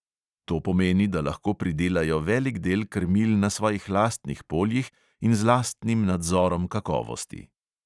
To pomeni, da lahko pridelajo velik del krmil na svojih lastnih poljih in z lastnim nadzorom kakovosti.